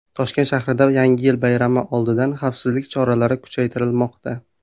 Toshkent shahrida Yangi yil bayrami oldidan xavfsizlik choralari kuchaytirilmoqda .